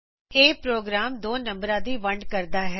ਇਹ ਪ੍ਰੋਗਰਾਮ ਦੋ ਨੰਬਰਾਂ ਦੀ ਵੰਡ ਕਰਦਾ ਹੈ